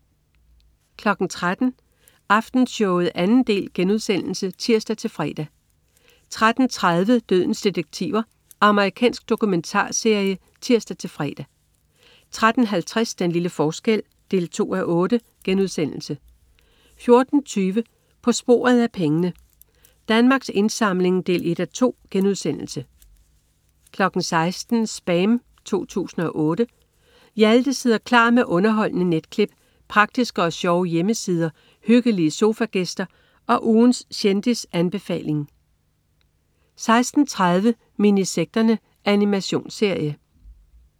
13.00 Aftenshowet 2. del* (tirs-fre) 13.30 Dødens detektiver. Amerikansk dokumentarserie (tirs-fre) 13.50 Den lille forskel 2:8* 14.20 På sporet af pengene. Danmarks Indsamling 1:2* 16.00 SPAM 2008. Hjalte sidder klar med underholdende netklip, praktiske og sjove hjemmesider, hyggelige sofagæster og ugens kendisanbefaling 16.30 Minisekterne. Animationsserie